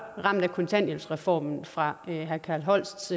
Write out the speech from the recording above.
ramt af kontanthjælpsreformen fra herre carl holsts